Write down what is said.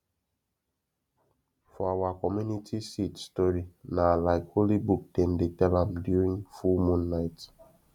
for awa community seed story na like holy book dem dey tell am during full moon night